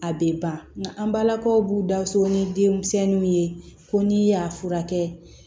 A bɛ ban nka an balakaw b'u da so ni denmisɛnninw ye ko n'i y'a furakɛ